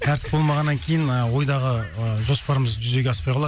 тәртіп болмағаннан кейін ы ойдағы ыыы жоспарымыз жүзеге аспай қалады